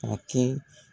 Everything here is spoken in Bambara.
Ka kɛ